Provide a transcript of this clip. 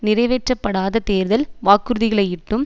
நிறைவேற்றப்படாத தேர்தல் வாக்குறுதிகளையிட்டும்